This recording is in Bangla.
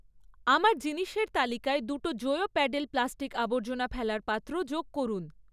আমার জিনিসের তালিকায় দুটো টো জোয়ো প্যাডেল প্লাস্টিক আবর্জনা ফেলার পাত্র যোগ করুন